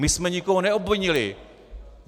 My jsme nikoho neobvinili.